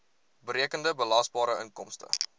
berekende belasbare inkomste